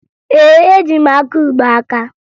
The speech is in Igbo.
Ee, eji m akaụgbọ aka